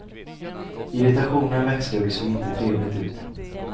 Irritationen växte och det såg inte trevligt ut.